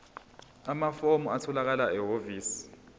amafomu atholakala ehhovisi